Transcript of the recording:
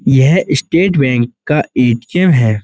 यह State Bank का ATM. है।